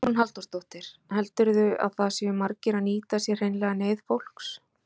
Hugrún Halldórsdóttir: Heldurðu að það séu margir að nýta sér hreinlega neyð fólks?